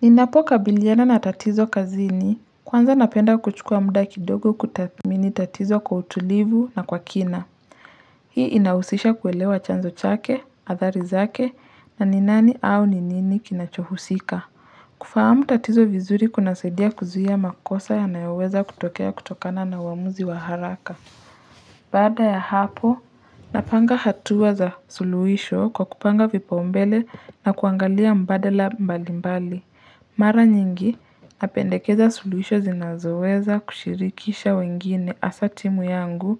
Ninapokabiliana na tatizo kazini, kwanza napenda kuchukua muda kidogo kutathmini tatizo kwa utulivu na kwa kina. Hii inahusisha kuelewa chanzo chake, athari zake, na ni nani au ni nini kinachohusika. Kufahamu tatizo vizuri kunasaidia kuzia makosa yanayoweza kutokea kutokana na uwaamuzi wa haraka. Baada ya hapo, napanga hatua za suluhisho kwa kupanga vipaombele na kuangalia mbadala mbali mbali. Mara nyingi, napendekeza suluhisho zinazoweza kushirikisha wengine hasa timu yangu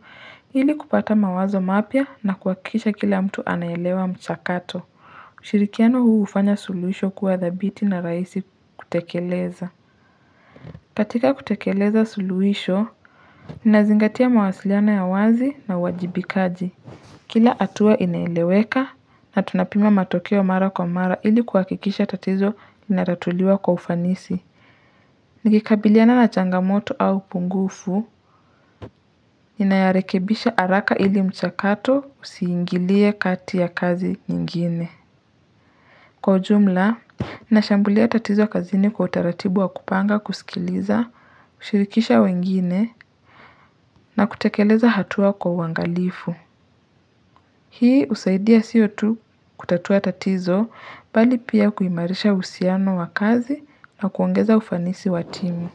ili kupata mawazo mapya na kuhakikisha kila mtu anaelewa mchakato. Ushirikiano huu ufanya suluhisho kuwa thabiti na rahisi kutekeleza. Katika kutekeleza suluhisho, nazingatia mawasiliano ya wazi na uwajibikaji. Kila hatua inaeleweka na tunapima matokeo mara kwa mara ili kuhakikisha tatizo linatuliwa kwa ufanisi. Nikikabiliana na changamoto au upungufu, ninayarekebisha haraka ili mchakato usiingilie kati ya kazi nyingine. Kwa ujumla, nashambulia tatizo kazini kwa utaratibu wa kupanga kusikiliza, kushirikisha wengine na kutekeleza hatua kwa uwangalifu. Hii husaidia sio tu kutatua tatizo bali pia kuimarisha uhusiano wa kazi na kuongeza ufanisi wa timu.